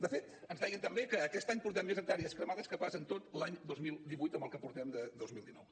de fet ens deien també que aquest any portem més hectàrees cremades que pas en tot l’any dos mil divuit en el que portem de dos mil dinou